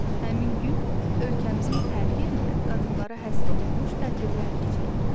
Həmin gün ölkəmizin hər yerində qadınlara həsr olunmuş tədbirlər keçirilir.